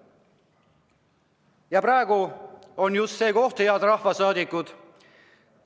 " Ja praegu on just see hetk, head rahvasaadikud,